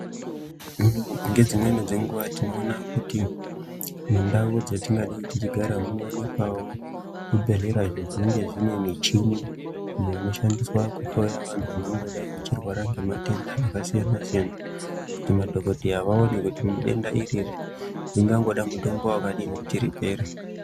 Nge dzimweni dzenguva tinoona kuti mundau dza tingadai tichigara muno wanikwawo zvi bhedhlera izvo zvinenge zvine michini iyo ino shandiswa ku hloya vantu vangango dai vachirwara nge matenda aka siyana siyana kuti madhokodheya vaone kuti denda iririri ringangoda mutombo wakadini kuti ripere.